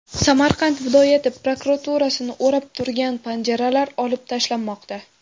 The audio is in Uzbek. Samarqand viloyat prokuraturasini o‘rab turgan panjaralar olib tashlanmoqda.